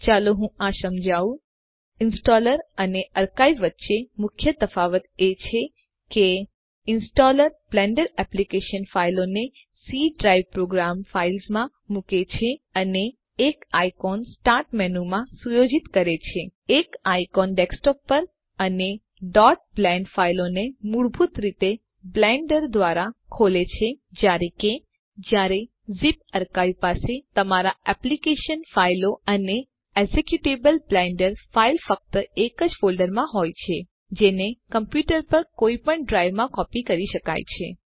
ચાલો હું આ સમજાવવું ઈંસ્ટોલર અને અર્કાઇવ વચ્ચે મુખ્ય તફાવત એ છે કે ઈંસ્ટોલર બ્લેન્ડર એપ્લીકેશન ફાઈલોને સી ડ્રાઇવ પ્રોગ્રામ ફાઇલ્સ માં મુકે છે અને એક આઈકોન સ્ટાર્ટ મેનુંમાં સુયોજિત કરે છે એક આઈકોન ડેસ્કટોપ પર અને blend ફાઈલોને મૂળભૂત રીતે બ્લેન્ડર દ્વારા ખોલે છે જયારે કે જયારે ઝિપ અર્કાઇવ પાસે તમામ એપ્લીકેશન ફાઈલો અને એક્ઝેક્યુટેબલ બ્લેન્ડર ફાઈલ ફક્ત એક જ ફોલ્ડરમાં હોય છે જેને કોમપ્યુટર પર કોઈપણ ડ્રાઈવમાં કોપી કરી શકાય છે